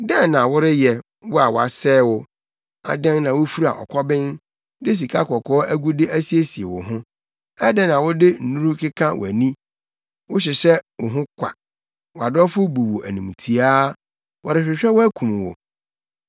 Dɛn na woreyɛ, wo a wɔasɛe wo? Adɛn na wufura ɔkɔben de sikakɔkɔɔ agude asiesie wo ho? Adɛn na wode nnuru keka wʼani? Wohyehyɛ wo ho kwa. Wʼadɔfo bu wo animtiaa; wɔrehwehwɛ wo akum wo.